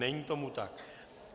Není tomu tak.